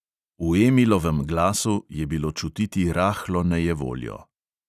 V emilovem glasu je bilo čutiti rahlo nejevoljo.